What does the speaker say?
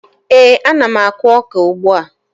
Ee, ana m akụ ọka ugbua